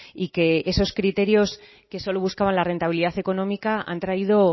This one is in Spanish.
y que esos criterios que solo buscaban la rentabilidad económica han traído